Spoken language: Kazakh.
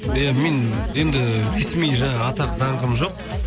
иә мен енді ресми жаңағы атақ даңқым жоқ